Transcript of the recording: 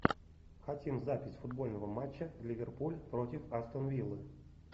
хотим запись футбольного матча ливерпуль против астон виллы